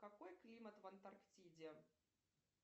какой климат в антарктиде